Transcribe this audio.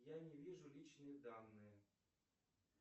я не вижу личные данные